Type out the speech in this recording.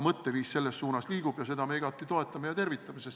Mõtteviis selles suunas liigub ja seda me igati toetame ja tervitame.